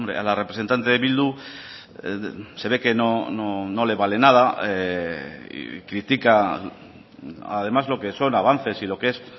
a la representante de bildu se ve que no le vale nada y critica además lo que son avances y lo que es